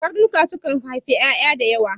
Karnuka sukan aifi ƴaƴa da yawa